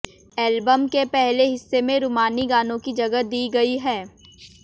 album के पहले हिस्से में रूमानी गानों को जगह दी गई है